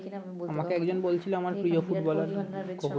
আমাকে একজন বলেছিল আমার প্রিয় ফুটবলার কোহেলি